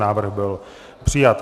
Návrh byl přijat.